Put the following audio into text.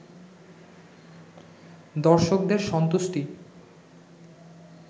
দর্শকদের সন্তুষ্টি